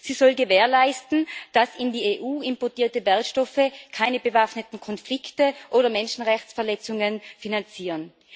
Sie soll gewährleisten, dass in die EU importierte Wertstoffe keine bewaffneten Konflikte oder Menschenrechtsverletzungen finanzieren.